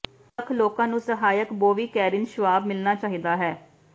ਦੋ ਲੱਖ ਲੋਕਾਂ ਨੂੰ ਸਹਾਇਕ ਬੋਵੀ ਕੈਰਿਨ ਸ਼੍ਵਾਬ ਮਿਲਣਾ ਚਾਹੀਦਾ ਹੈ